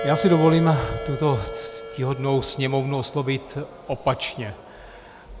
Já si dovolím tuto ctihodnou Sněmovnu oslovit opačně.